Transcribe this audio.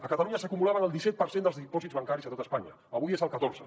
a catalunya s’acumulaven el disset per cent dels dipòsits bancaris de tot espanya avui és el catorze